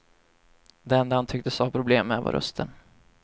Det enda han tycktes ha problem med var rösten.